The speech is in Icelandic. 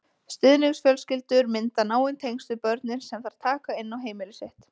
Stuðningsfjölskyldur mynda náin tengsl við börnin sem þær taka inn á heimili sitt.